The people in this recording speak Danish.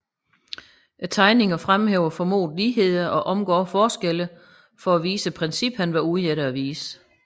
Tegningerne fremhæver formodede ligheder og omgår forskelle for at vise princippet han var ude efter at vise